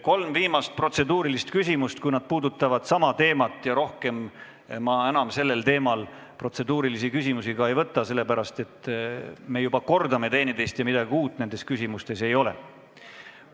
Kolm viimast protseduurilist küsimust – kui need puudutavad sama teemat – ja rohkem ma sellel teemal protseduurilisi küsimusi enam vastu ei võta, sest me juba kordame üksteist ja midagi uut nendes küsimustes ei ole.